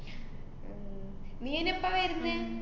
നീയയിന് എപ്പ വെരുന്നേ?